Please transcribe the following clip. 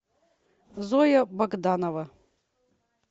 зоя богданова